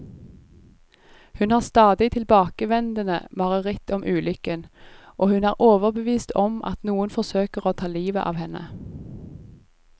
Hun har stadig tilbakevendende mareritt om ulykken, og hun er overbevist om at noen forsøker å ta livet av henne.